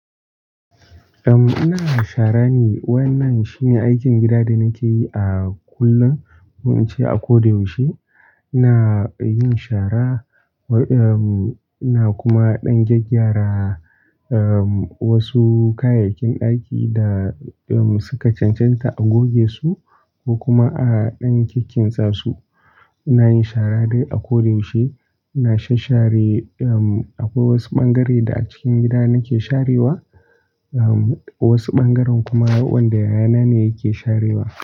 Uhm, ina shara ne. Wannan shi ne aikin gida da nake yi a kullum, ko in ce a ko da yaushe. Ina yin shara, uhm, ina kuma ɗan gyaggyara uhm, wasu kayayyakin ɗaki da suka cancanta a goge su ko kuma a ɗan kikkintsa su. Ina yin shara du a ko da yaushe. Ina shashshare, uhm, akwai wasu ɓangare da a cikin gida nake sharewa. Uhm, wasu ɓangaren kuma wanda yayana ne yake sharewa.